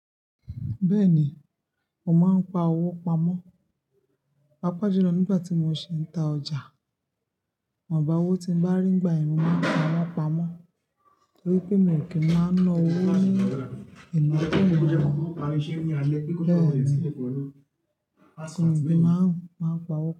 Bẹ́ẹ̀ni, mo máa ń pa owó pamọ́. Papa jolu nígbà tí mo ṣe ń ta ọjà, iwonbá owó tí mo bá rí nígbàyen mo máa fiwon pamọ́ torí pé mo kì í máa na owó ní ìnàkuna. Bẹ́ẹ̀ni, mo sì máa ń pa owó pamọ́